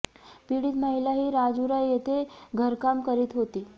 पीडित महिला ही राजुरा येथे घरकाम करीत होती